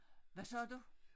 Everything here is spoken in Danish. Hvad sagde du?